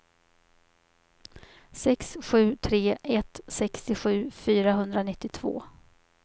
sex sju tre ett sextiosju fyrahundranittiotvå